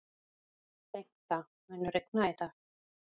Bengta, mun rigna í dag?